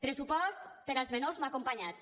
pressupost per als menors no acompanyats